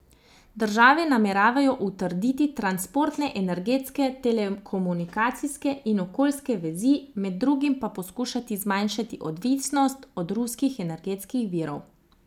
Države nameravajo utrditi transportne, energetske, telekomunikacijske in okoljske vezi, med drugim pa poskušati zmanjšati odvisnost od ruskih energetskih virov.